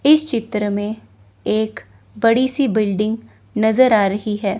इस चित्र में एक बड़ी सी बिल्डिंग नजर आ रही है।